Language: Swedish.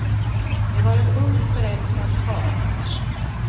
De var ett ungt förälskat par.